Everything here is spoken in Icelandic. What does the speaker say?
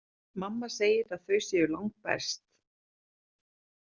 Mamma segir að þau séu langbest.